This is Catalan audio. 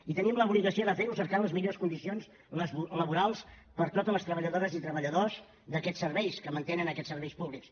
i tenim l’obligació de fer ho cercant les millors condicions laborals per a totes les treballadores i treballadors d’aquests serveis que mantenen aquests serveis públics